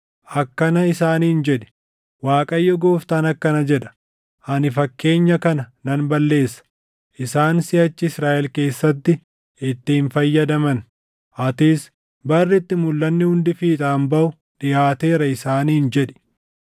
Akkana isaaniin jedhi; ‘ Waaqayyo Gooftaan akkana jedha: Ani fakkeenya kana nan balleessa; isaan siʼachi Israaʼel keessatti itti hin fayyadaman.’ Atis, ‘Barri itti mulʼanni hundi fiixaan baʼu dhiʼaateera, isaaniin jedhi.